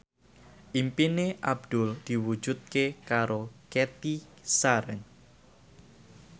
impine Abdul diwujudke karo Cathy Sharon